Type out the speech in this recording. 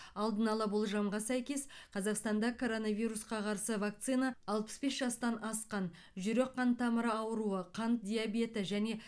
алдын ала болжамға сәйкес қазақстанда коронавирусқа қарсы вакцина алпыс бес жастан асқан жүрек қан тамыры ауруы қант диабеті және